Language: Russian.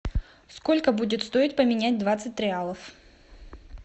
сколько будет стоить поменять двадцать реалов